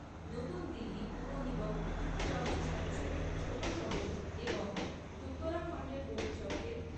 নতুন দিল্লি পুর নিগম সবচেয়ে স্বচ্ছ ছোট শহর এবং উত্তরাখণ্ডের গৌরচরকে